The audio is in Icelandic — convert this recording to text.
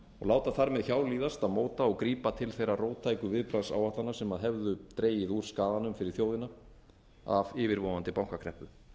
láta þar með hjá líðast að móta og grípa til þeirra róttæku viðbragðsáætlana sem hefðu dregið úr skaðanum fyrir þjóðina af yfirvofandi bankakreppu